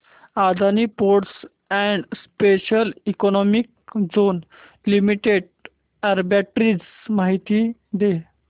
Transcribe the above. Adani ports and special economic zone limited arbitrage माहिती दे